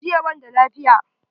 JIya banda lafiya.